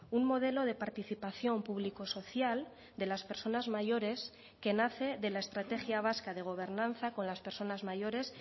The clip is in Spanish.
un modelo de participación público social de las personas mayores que nace de la estrategia vasca de gobernanza con las personas mayores